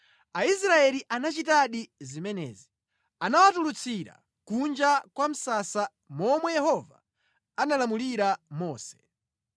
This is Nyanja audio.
Aisraeli anachitadi zimenezi. Anawatulutsira kunja kwa msasa monga momwe Yehova analamulira Mose.